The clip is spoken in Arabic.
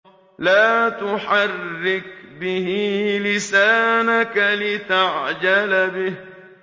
لَا تُحَرِّكْ بِهِ لِسَانَكَ لِتَعْجَلَ بِهِ